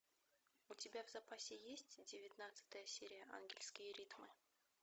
у тебя в запасе есть девятнадцатая серия ангельские ритмы